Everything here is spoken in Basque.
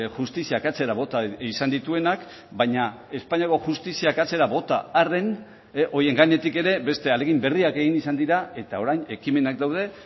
justiziak atzera bota izan dituenak baina espainiako justiziak atzera bota arren horien gainetik ere beste ahalegin berriak egin izan dira eta orain ekimenak daude